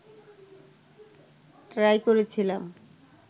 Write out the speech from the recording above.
try করেছিলাম